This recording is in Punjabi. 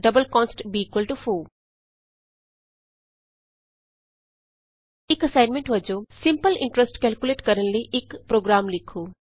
ਡਬਲ ਕਾਂਸਟ b4 ਇਕ ਅਸਾਈਨਮੈਂਟ ਵਜੋਂ ਸਿੰਪਲ ਇੰਟਰਸਟ ਕੇਲਕੁਲੇਟ ਕਰਨ ਲਈ ਇਕ ਛ ਪੋ੍ਰਗਰਾਮ ਲਿਖੋ